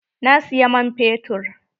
Na siyi man fetur.